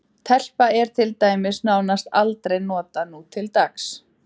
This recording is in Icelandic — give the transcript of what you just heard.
Telpa er til dæmis nánast aldrei notað nútildags.